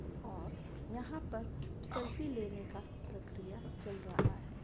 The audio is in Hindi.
और यहाँ पर सेल्फी लेने का प्रक्रिया चल रहा है।